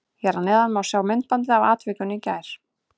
Hér að neðan má sjá myndbandið af atvikinu í gær.